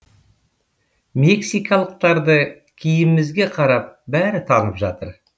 мексикалықтарды киімімізге қарап бәрі танып жатыр